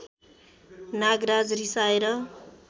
Nagraj रिसाएर